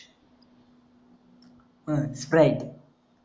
हम्म राईट